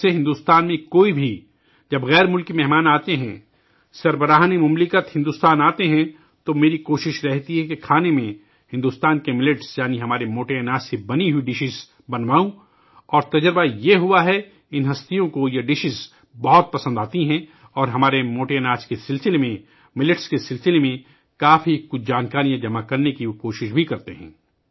کچھ عرصے سے ، جب کوئی بھی غیر ملکی مہمان بھارت آتا ہے، جب سربراہ مملکت بھارت آتے ہیں تو میری کوشش رہتی ہے کہ کھانے میں بھارت کے موٹے اناج یعنی ملٹس سے بنے ہوئے پکوان بنواؤں اور اس کا یہ نتیجہ نکلا ہے کہ ان اہم شخصیات کو یہ کھانے بہت پسند آتے ہیں اور ہمارے موٹے اناج کے تعلق سے ، ملٹ کے تعلق سے ، وہ بہت سی معلومات حاصل کرنے کی بھی کوشش کرتے ہیں